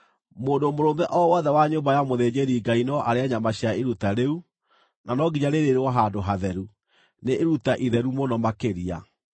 Mũndũ mũrũme o wothe wa nyũmba ya mũthĩnjĩri-Ngai no arĩe nyama cia iruta rĩu, na no nginya rĩrĩĩrwo handũ hatheru; nĩ iruta itheru mũno makĩria.